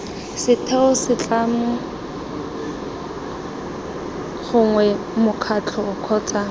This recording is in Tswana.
setheo setlamo gongwe mokgatlho kgotsa